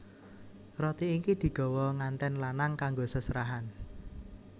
Roti iki digawa ngantèn lanang kanggo seserahan